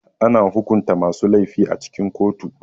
Ana hukunta masu laifi a cikin kotu.